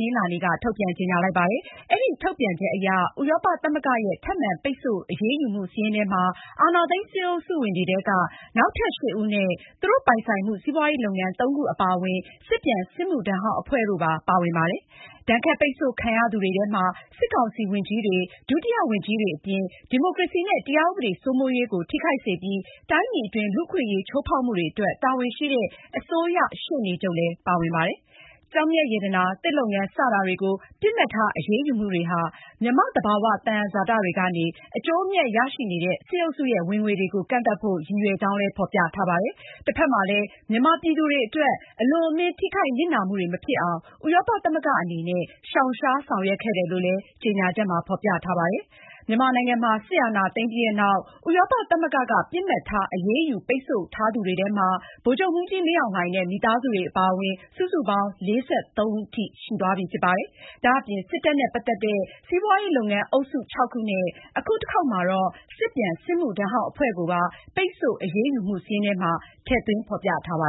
နင်္လာနေ့က ထုတ်ပြန်ကြေညာလိုက်ပါတယ်။ အဲဒီထုတ်ပြန်ချက်အရ ဥရောပသမဂ္ဂရဲ့ ထပ်မံ ပိတ်ဆို့အရေးယူမှုစာရင်းထဲမှာ- အာဏာသိမ်း စစ်အုပ်စုဝင်တွေထဲက နောက်ထပ် ၈ ဦးနဲ့ စစ်တပ်နဲ့ပတ်သက်နေတဲ့ စီးပွားရေးလုပ်ငန်း (၃)ခုအပါအဝင် စစ်ပြန်စစ်မှုထမ်းဟောင်းအဖွဲ့တို့ ပါဝင်ပါတယ်။ ဒဏ်ခတ်ပိတ်ဆို့ခံရသူတွေထဲမှာ- စစ်ကောင်စီ ဝန်ကြီးတွေ၊ ဒုတိယဝန်ကြီးတွေအပြင် ဒီမိုကရေစီနဲ့ တရားဥပဒေစိုးမိုးရေးကို ထိခိုက်စေပြီး တိုင်းပြည်အတွင်း လူ့အခွင့်အရေးချိုးဖောက်မှုတွေအတွက် တာဝန်ရှိတဲ့ အစိုးရ ရှေ့နချုပ်လည်း ပါဝင်ပါတယ်။ ကျောက်မျက်ရတနာ၊ သစ်လုပ်ငန်း စတာတွေကို ပစ်မှတ်ထားအရေးယူမှုတွေဟာ မြန်မာ့သဘာ၀ သယံဇာတတွေကနေ အကျိုးအမြတ်ရရှိနေတဲ့ စစ်အုပ်စုရဲ့ ဝင်ငွေတွေကို ကန့်သတ်ဖို့ ရည်ရွယ်ကြောင်း ဖေါ်ပြထားပါတယ်။ တဖက်မှာလည်း မြန်မာပြည်သူတွေအတွက် အလွန်အမင်း ထိခိုက်နစ်နာမှုတွေမဖြစ်အောင် ဥရောပသမဂ္ဂ အနေနဲ့ ရှောင်ရှား ဆောင်ရွက်ခဲ့တယ်လို့လည်း ဆိုပါတယ်။ မြန်မာနိုင်ငံမှာ စစ်အာဏာသိမ်းပြီးနောက် ဥရောပသမဂ္ဂက ပစ်မှတ်ထား အရေးယူပိတ်ဆို့ထားသူတွေထဲမှာ ဗိုလ်ချုပ်မှူးကြီးမင်းအောင်လှိုင်နဲ့ မိသားစုဝင်တွေအပါအဝင် စုစုပေါင်း ၄၃ ဦးထိရှိသွားပြီဖြစ်ပါတယ်။ ဒါအပြင် စစ်တပ်နဲ့ပတ်သက်နေတဲ့ စီးပွားလုပ်ငန်းအုပ်စု ၆ ခုနဲ့ အခုတခေါက်မှာတော့ စစ်ပြန်စစ်မှုထမ်းဟောင်းအဖွဲ့ကိုပါ ပိတ်ဆို့အရေးယူမှုစာရင်းထဲမှာ ထည့်သွင်းဖေါ်ပြခဲ့ပါ